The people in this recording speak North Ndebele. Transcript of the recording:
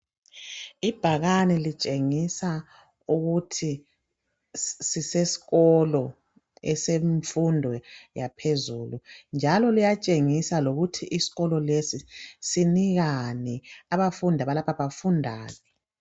Ibhakane litshengisa ukuthi sisesikolo esemfundo yaphezulu njalo liyatshengisa lokuthi isikolo lesi sinikani abafundi, abalapha bafundani.